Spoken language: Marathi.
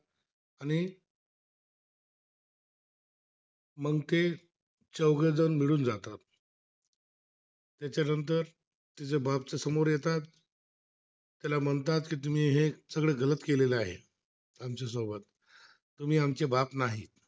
त्याच्यानंतर त्याबाबतचा समोर येतात, याला म्हणतात की तुम्ही सगळं केलेलं आहे, आमच्यासोबत तुम्ही आमचे बाप नाही